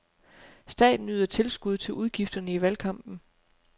Staten yder tilskud til udgifterne i valgkampen.